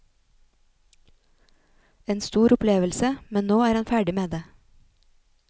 En stor opplevelse, men nå er han ferdig med det.